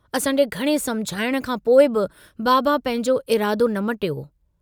असांजे घणे समुझाइण खां पोइ बि बाबा पंहिंजो इरादो न मटियो।